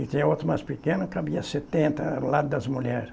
E tinha outro mais pequeno que cabia setenta, lado das mulheres.